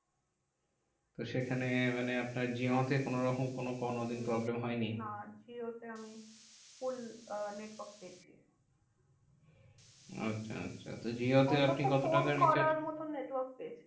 তো সেখানে মানে আপনার জিওতে কোনোরকম কোনো~ কোনোদিন problem হয়নি? না জিওতে আমি full আহ network পেয়েছি। আচ্ছা আচ্ছা তো জিওতে আপনি অন্তত কত ফোন টাকার recharge করার মতো network পেয়েছি।